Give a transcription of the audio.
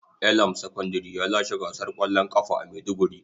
Elam secondary ya lashe gasar kwallon kafa a maiduguri.